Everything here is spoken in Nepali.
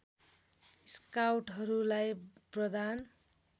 स्काउटहरूलाई प्रदान